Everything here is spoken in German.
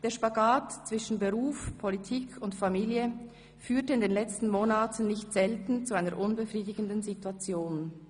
Der Spagat zwischen Beruf, Politik und Familie führte in den letzten Monaten nicht selten zu einer unbefriedigenden Situation.